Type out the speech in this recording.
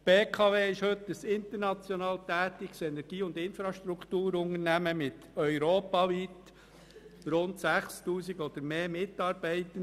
Die BKW ist heute ein international tätiges Energie- und Infrastrukturunternehmen mit europaweit rund 6000 oder mehr Mitarbeitenden.